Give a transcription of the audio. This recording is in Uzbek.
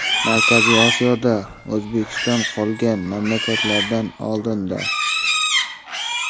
Markaziy Osiyoda O‘zbekiston qolgan mamlakatlardan oldinda.